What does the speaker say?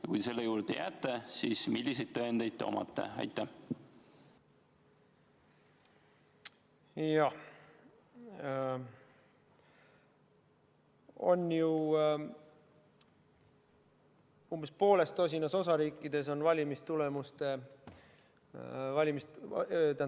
Ja kui te selle juurde jääte, siis milliseid tõendeid teil on?